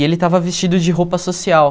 E ele estava vestido de roupa social.